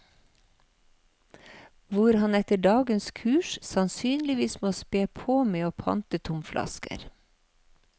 Hvor han etter dagens kurs sannsynligvis må spe på med å pante tomflasker.